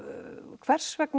hvers vegna